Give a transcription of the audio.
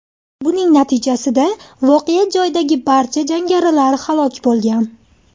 Buning natijasida voqea joyidagi barcha jangarilar halok bo‘lgan.